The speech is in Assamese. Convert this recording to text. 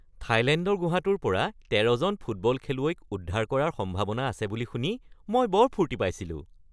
থাইলেণ্ডৰ গুহাটোৰ পৰা ১৩ জন ফুটবল খেলুৱৈক উদ্ধাৰ কৰাৰ সম্ভাৱনা আছে বুলি শুনি মই বৰ ফূৰ্তি পাইছিলোঁ।